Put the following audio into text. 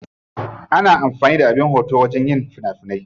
Ana amfani da abin daukan hoto wajen yin fina finai.